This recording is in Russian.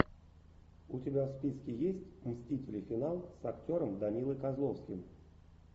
у тебя в списке есть мстители финал с актером данилой козловским